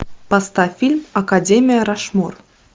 поставь фильм академия рашмор